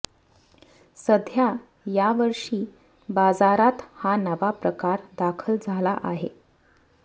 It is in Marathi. सध्या यावर्षी बाजारात हा नवा प्रकार दाखल झाला आहे